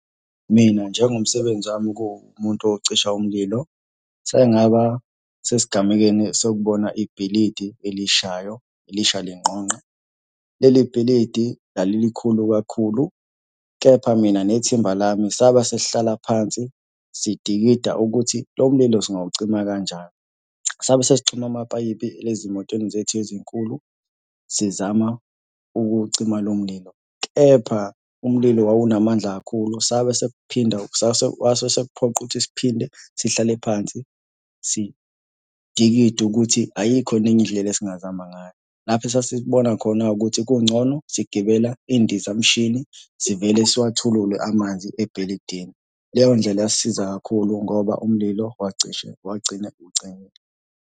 Mina njengomsebenzi wami kuwumuntu ocisha umlilo, ngisake ngaba sesigamekeni sokubona ibhilidi elishayo, lisha lingqongqe. Leli bhilidi lalilikhulu kakhulu, kepha mina nethimba lami saba sesihlala phansi sidikida ukuthi lo mlilo singawucima kani. Sabe sesixhuma amapayipi ezimotweni zethu ezinkulu sizama ukucima lo mlilo, kepha umlilo wawunamandla kakhulu saba sekuphinda, kwase sekuphoqa ukuthi siphinde sihlale phansi sidikide ukuthi ayikho yini enye indlela esingazama ngayo. Lapho esasesibona khona-ke ukuthi kungcono sigibela iy'ndizamshini sivele siwathulule amanzi ebhilidini. Leyo ndlela yasisiza kakhulu ngoba umlilo wacishe wagcina ucimile.